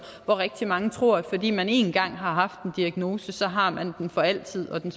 hvor rigtig mange tror at fordi man engang har haft en diagnose så har man den for altid og at den